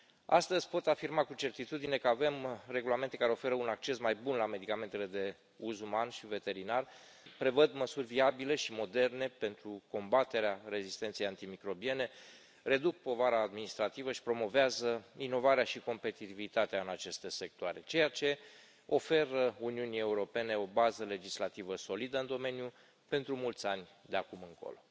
Astăzi pot afirma cu certitudine că avem regulamente care oferă un acces mai bun la medicamentele de uz uman și veterinar, prevăd măsuri viabile și moderne pentru combaterea rezistenței antimicrobiene, reduc povara administrativă și promovează inovarea și competitivitatea în aceste sectoare, ceea ce oferă Uniunii Europene o bază legislativă solidă în domeniu pentru mulți ani de acum încolo.